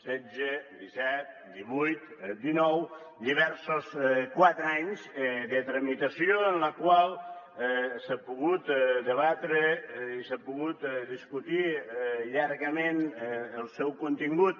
setze disset divuit dinou diversos quatre anys de tramitació en la qual s’ha pogut debatre i s’ha pogut discutir llargament el seu contingut